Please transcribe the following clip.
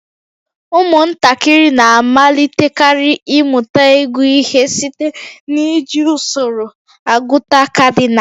Ụmụntakịrị na-amalitekarị ịmụta ịgụ ihe site n'iji usoro agụta kadinal